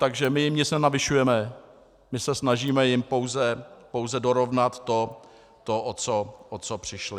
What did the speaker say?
Takže my jim nic nenavyšujeme, my se snažíme jim pouze dorovnat to, o co přišli.